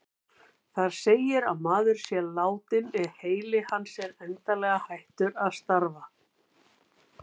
Þar segir að maður sé látinn ef heili hans er endanlega hættur að starfa.